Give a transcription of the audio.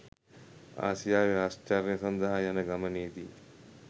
ආසියාවේ ආශ්චර්ය සඳහා යන ගමනේදී